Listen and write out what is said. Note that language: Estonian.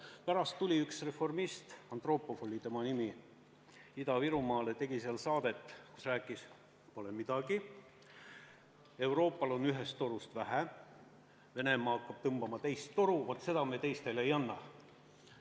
Pärast tuli üks reformist – Antropov oli tema nimi – Ida-Virumaale, tegi seal saadet, kus rääkis, et pole midagi, Euroopal on ühest torust vähe, Venemaa hakkab tõmbama teist toru ja seda me teistele ei anna.